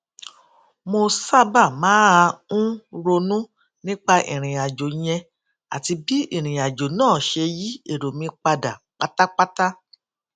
mo sábà máa ń ronú nípa ìrìn àjò yẹn àti bí ìrìn àjò náà ṣe yí èrò mi padà pátápátá